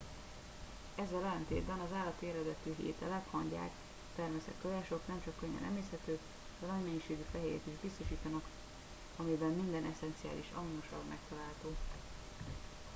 ezzel ellentétben az állati eredetű ételek hangyák termeszek tojások nem csak könnyen emészthetők de nagy mennyiségű fehérjét is biztosítanak amiben minden esszenciális aminosav megtalálható